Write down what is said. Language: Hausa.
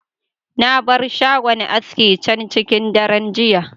Na bar shagon aski can cikin daren jiya.